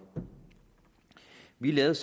vi lavede